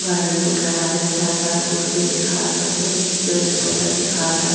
गाड़ी आवे छै ज्यादा रोड पे दिखात हवे पेड़-पौधा दिखात हअ।